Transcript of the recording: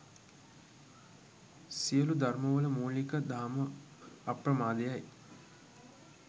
සියලු ධර්මවල මූලික දහම අප්‍රමාදය යි.